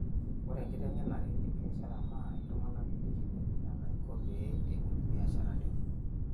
Ore enkiteng'enare e biashara naa iltung'ana elikini enaiko pee ebol mbiasharani